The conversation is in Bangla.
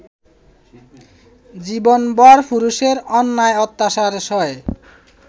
জীবনভর পুরুষের অন্যায়-অত্যাচার সয়ে